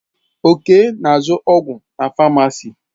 Okay na azụ ọgwụ na famacii.